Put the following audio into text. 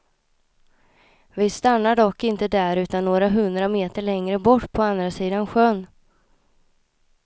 Vi stannar dock inte där utan några hundra meter längre bort på andra sidan sjön.